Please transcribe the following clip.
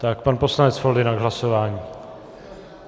Tak pan poslanec Foldyna k hlasování.